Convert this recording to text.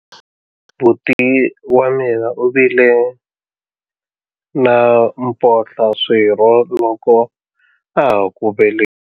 Buti wa mina u vile na mphohlaswirho loko a ha ku velekiwa.